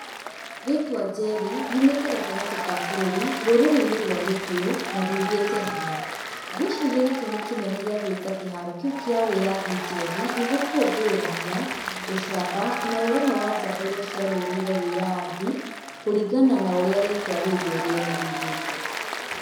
Rĩtwa Njeri riumĩte gatagatĩ ka bũrũri rũrĩrĩ-inĩ rwa gĩkũyũ na riugite hinya. Ngwĩciria gĩtũmi kĩnene gĩa gwĩta kĩharo kĩu kĩa wĩyathi Njeri, nĩ gũkũngũĩra hinya, ũcamba na ũrũmwe wa njamba iria ciarũĩrĩire wĩyathi kũringana na ũrĩa rĩtwa rĩu rĩo rĩene rĩugĩte.